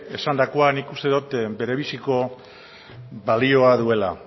esandakoa nik uste dut bere biziko balioa duela